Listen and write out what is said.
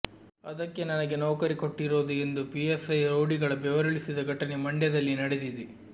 ಅದಕ್ಕೆ ನನಗೆ ನೌಕರಿ ಕೊಟ್ಟಿರೋದು ಎಂದು ಪಿಎಸ್ಐ ರೌಡಿಗಳ ಬೆವರಿಳಿಸಿದ ಘಟನೆ ಮಂಡ್ಯದಲ್ಲಿ ನಡೆದಿದೆ